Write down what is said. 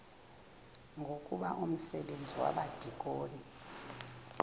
ngoku umsebenzi wabadikoni